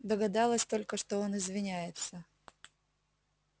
догадалась только что он извиняется